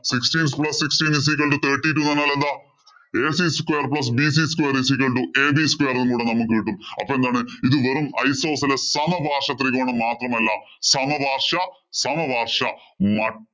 Sixteen plus sixteen is equal to thirty two എന്ന് പറഞ്ഞാല്‍ എന്താ? ac square plus bc square is equal to ab square കൂടി നമ്മക്ക് കിട്ടും. അപ്പൊ എന്താണ് ഇത് വെറും isosceles സമപാര്‍ശ്വത്രികോണം മാത്രമല്ല. സമപാര്‍ശ്വസമപാര്‍ശ്വമട്